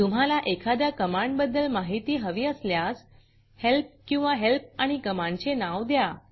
तुम्हाला एखाद्या कमांडबद्दल माहिती हवी असल्यास हेल्प किंवा हेल्प आणि कमांडचे नाव द्या